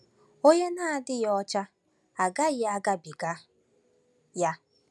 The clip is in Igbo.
“Onye Na-adịghị Ọcha Agaghị Agabiga Ya”